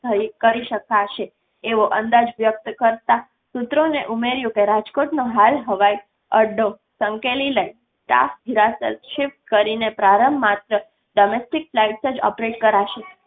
થઈ કરી શકશે એવો અંદાજ વ્યક્ત કરતાં સૂત્રોને ઉમેર્યું કે રાજકોટનો હાલ હવાઈ અડ્ડો સંકેલી લઈ સ્ટાફ હીરાસર શિફ્ટ કરીને પ્રારંભ માત્ર domestic flights જ operate કરાશે. કરી શકાશે